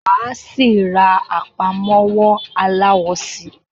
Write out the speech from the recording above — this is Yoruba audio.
Máa síí rá àpámọ́wọ́ aláwọ síí